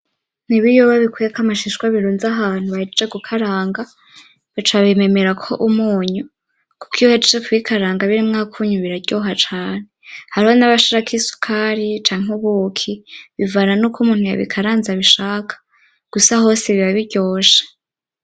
N'ibiyoba bikuyeko amashishwa birunze ahantu bahejeje gukaranga, baca babimemerako umunyu, kuko iyo bahejeje kubikaranga birimwo akunyu biraryoha cane, hariho n'abashirako isukari; canke ubuki bivana nuk' umuntu yabikaranze abishaka, gusa hose biba biryoshe.